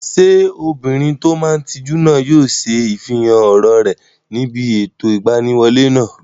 Ṣé obìnrin tó máa n tijú náà yóò ṣe ifihàn ọ̀rọ̀ rẹ̀ níbi ètò ìgbaniwọlé náà?